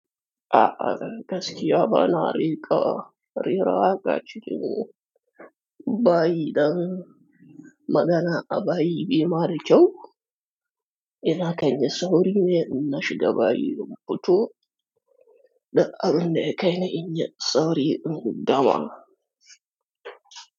A'a, dan gaskiya bana riƙa rera waka cikin bayi dan magana a bayi bai ma da kyau. Ina kan yi sauri ne in na shiga bayi, muto dul abun da ya kaini in yi sauri in guda ma.